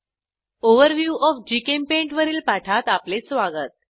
overview of जीचेम्पेंट वरील पाठात आपले स्वागत